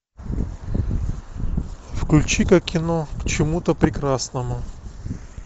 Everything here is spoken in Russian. включи ка кино к чему то прекрасному